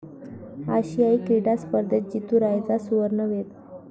आशियाई क्रीडा स्पर्धेत जीतू रायचा 'सुवर्ण'वेध